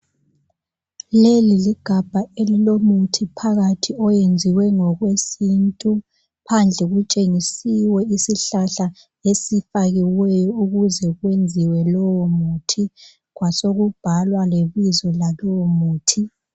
Leli ligabha elilomuthi phakathi iyenziwe ngokwesintu . Phandle kutshengisiwe isihlahla esifakiweyo ukuze kwenziwe lowomuthi kwasokubhalwa lebizo lalowomuthi.